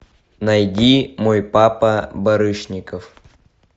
найди мой папа барышников